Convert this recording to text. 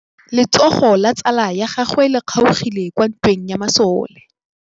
Letsôgô la tsala ya gagwe le kgaogile kwa ntweng ya masole.